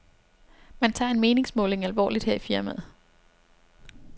Man tager en meningsmåling alvorligt her i firmaet.